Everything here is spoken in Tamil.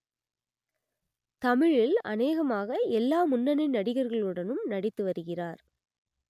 தமிழில் அனேகமாக எல்லா முன்னணி நடிகர்களுடனும் நடித்து வருகிறார்